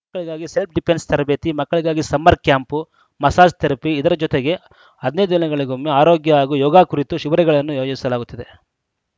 ಮಕ್ಕಳಿಗಾಗಿ self defence ತರಬೇತಿ ಮಕ್ಕಳಿಗಾಗಿ ಸಮ್ಮರ್‌ ಕ್ಯಾಂಪ್‌ ಮಸಾಜ್‌ ಥೆರಪಿ ಇದರ ಜತೆಗೆ ಹದಿನೈದು ದಿನಗಳಿಗೊಮ್ಮೆ ಆರೋಗ್ಯ ಹಾಗೂ ಯೋಗಾ ಕುರಿತು ಶಿಭಿರಗಳನ್ನು ಆಯೋಜಿಸಲಾಗುತ್ತದೆ